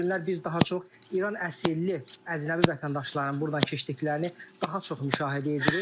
Son günlər biz daha çox İran əsillli əcnəbi vətəndaşların burdan keçdiklərini daha çox müşahidə edirik.